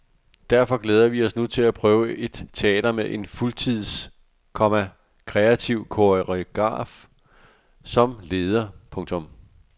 Derfor glæder vi os nu til at prøve et teater med en fuldtids, komma kreativ koreograf som leder. punktum